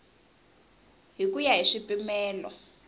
hi ku ya hi swipimelo